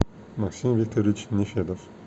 максим викторович нефедов